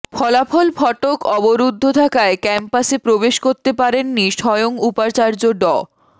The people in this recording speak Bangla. ফলাফল ফটক অবরুদ্ধ থাকায় ক্যাম্পাসে প্রবেশ করতে পারেননি স্বয়ং উপাচার্য ড